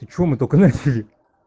ты что мы только начали